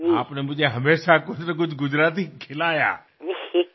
तुम्ही नेहमीच मला गुजराती पदार्थ खायला घातले आहेत